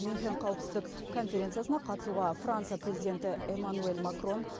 мюнхен қауіпсіздік конференциясына қатысуға франция президенті эмманюэль макрон